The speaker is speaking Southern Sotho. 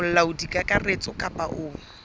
ke molaodi kakaretso kapa o